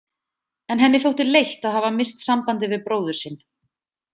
En henni þótti leitt að hafa misst sambandið við bróður sinn.